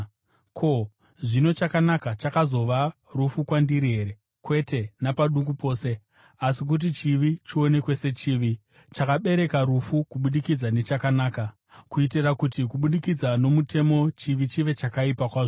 Ko, zvino chakanaka chakazova rufu kwandiri here? Kwete napaduku pose! Asi kuti chivi chionekwe sechivi, chakabereka rufu kubudikidza nechakanaka, kuitira kuti kubudikidza nomutemo chivi chive chakaipa kwazvo.